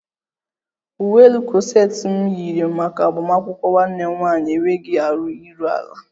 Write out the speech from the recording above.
Uwe elu kọseti m yiri maka agbamakwụkwọ nwanne m nwaanyị enweghi arụ iru ala